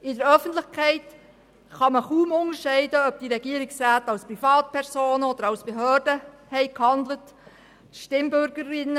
In der Öffentlichkeit kann man kaum unterscheiden, ob diese Regierungsmitglieder als Privatpersonen oder als Behördenvertreter gehandelt haben.